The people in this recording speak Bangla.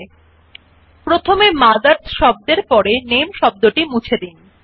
000529 000502 প্রথমে মথার্স এর পরের NAMEশব্দটি মুছে দিন